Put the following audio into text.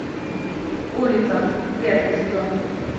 улица первый сезон